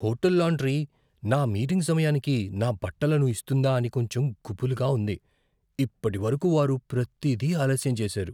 Hotel laundry నా meeting సమయానికి నా బట్టలను ఇస్తుందా అని కొంచెం గుబులుగా ఉంది. ఇప్పటివరకు, వారు ప్రతీది ఆలస్యం చేశారు.